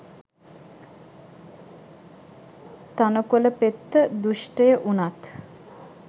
තණකොල පෙත්ත දුෂ්ඨය වුණත්